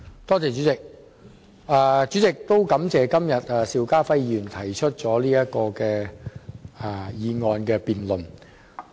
代理主席，我感謝邵家輝議員提出"拉動內需擴大客源"的議案。